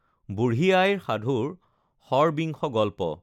বুঢ়ী আইৰ সাধুৰ ষড়বিংশ গল্প